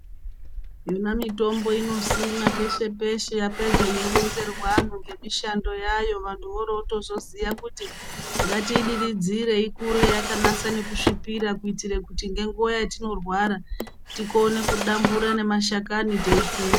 Yona mitombo inosimwa peshe peshe yapedza yeironzerwa antu ngemishando yayo vantu vorotozoziye kuti ngatiidiridzire ikure yakanasa kusvipira kuitire kuti ngenguwa yetinorwara tikone kudambura mashakani teitsenga.